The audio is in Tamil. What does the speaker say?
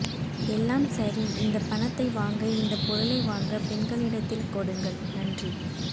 எல்லாம் சரி இந்த பணத்தை வாங்க இந்த பொருளை வாங்க பெண்களிடத்தில் கொடுங்கள் நன்றி